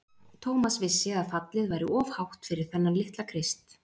Thomas vissi að fallið væri of hátt fyrir þennan litla Krist.